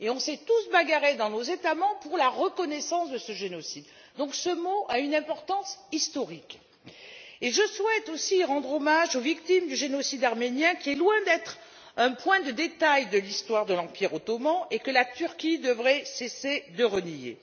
Nous avons tous luttés dans nos États membres pour la reconnaissance de ce génocide, donc ce mot a une importance historique. Je souhaite aussi rendre hommage aux victimes du génocide arménien qui est loin d'être un point de détail de l'histoire de l'Empire ottoman et que la Turquie devrait cesser de nier.